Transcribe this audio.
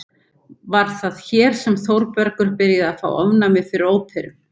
Var það hér sem Þórbergur byrjaði að fá ofnæmi fyrir óperum?